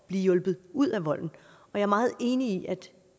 at blive hjulpet ud af volden jeg er meget enig i at